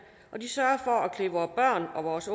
er vores